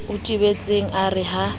o tebetseng a re ha